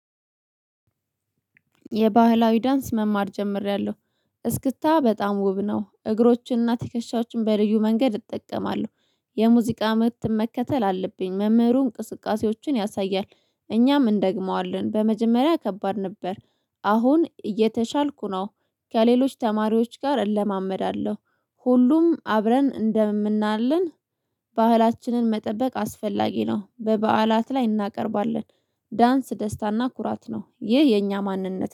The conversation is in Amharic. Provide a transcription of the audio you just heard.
የባህላዊ ዳንስ መማር ጀምሬያለው። እስክታ በጣም ውብ ነው። እግሮችንና ትከሻዎችን በልዩ መንገድ እጠቀማለሁ። የሙዚቃ ምት መከተል አለብኝ። መምህሩ እንቅስቃሴዎችን ያሳያል እኛም እንደግመዋለን። በመጀመሪያ ከባድ ነበር አሁን እየተሻልኩ ነው። ከሌሎች ተማሪዎች ጋር እለማመዳለሁ። ሁሉም አብረን እንደምናለን ባህላችንን መጠበቅ አስፈላጊ ነው። በባዓላት ላይ እናቀርባለን። ዳንስ ደስታና ኩራት ነው። ይህ የኛ ማንነት